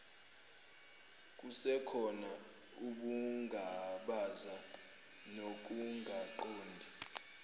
kusekhona ukungabaza nokungaqondi